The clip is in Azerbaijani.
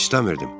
İstəmirdim.